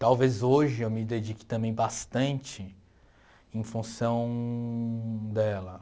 Talvez hoje eu me dedique também bastante em função dela.